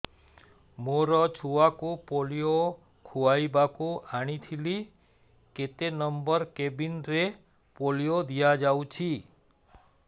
ମୋର ଛୁଆକୁ ପୋଲିଓ ଖୁଆଇବାକୁ ଆଣିଥିଲି କେତେ ନମ୍ବର କେବିନ ରେ ପୋଲିଓ ଦିଆଯାଉଛି